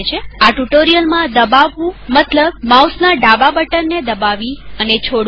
આ ટ્યુ્ટોરીઅલમાં દબાવવુંમતલબ માઉસના ડાબા બટન ને દબાવી અને છોડવું